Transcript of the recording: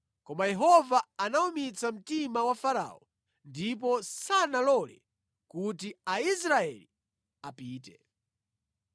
Koma Yehova anawumitsa mtima wa Farao, ndipo sanalole kuti Aisraeli apite.